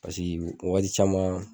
Pasiki wagati caman